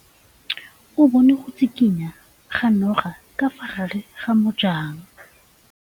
O bone go tshikinya ga noga ka fa gare ga majang.